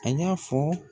A y'a fɔ